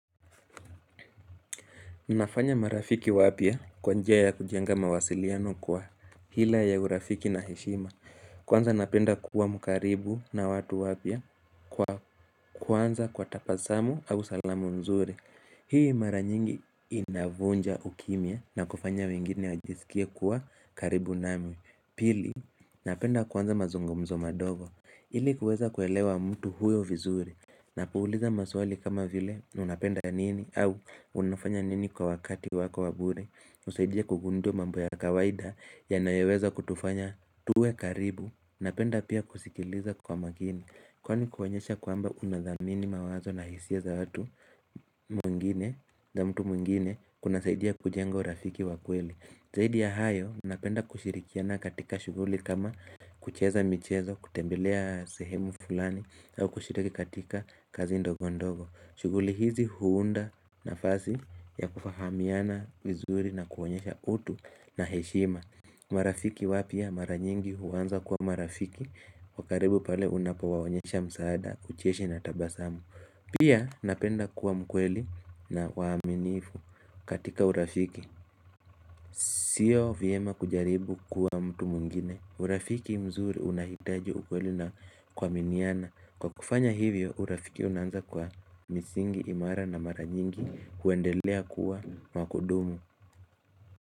Nafanya marafiki wapya kwa njia ya kujenga mawasiliano kwa hila ya urafiki na heshima Kwanza napenda kuwa mkaribu na watu wapya kwa kuanza kwa tabasamu au salamu nzuri Hii mara nyingi inavunja ukimya na kufanya wengine wajisikie kuwa karibu nami Pili, napenda kuanza mazungumzo madogo ili kuweza kuelewa mtu huyo vizuri Napouliza maswali kama vile unapenda nini au unafanya nini kwa wakati wako wabure usaidia kugundua mambo ya kawaida yanayoweza kutufanya tuwe karibu Napenda pia kusikiliza kwa makini Kwani kuonyesha kwamba unathamini mawazo na hisia za watu mwingine za mtu mwingine kuna saidia kujenga urafiki wakweli zaidi ya hayo napenda kushirikiana katika shuguli kama kucheza michezo kutembelea sehemu fulani au kushiriki katika kazi ndogo ndogo shughuli hizi huunda nafasi ya kufahamiana vizuri na kuonyesha utu na heshima marafiki wapya maranyingi huanza kuwa marafiki wakaribu pale unapowaonyesha msaada, ucheshi na tabasamu Pia napenda kuwa mkweli na waminiifu katika urafiki Sio vyema kujaribu kuwa mtu mwngine urafiki mzuri unahitaji ukwelinna kuaminiana Kwa kufanya hivyo urafiki unanza kwa misingi imara na mara nyingi huendelea kuwa wakudumu.